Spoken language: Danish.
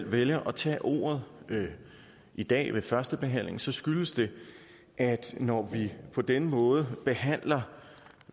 vælger at tage ordet i dag ved første behandling skyldes det at når vi på denne måde behandler